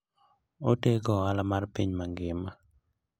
Otego ohala mar piny mangima.